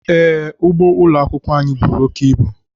Ee, ugbo ụlọ akwụkwọ anyị buru oke ibu.